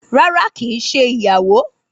Rárá ki é ṣe ìyàwó